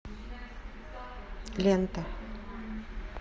лента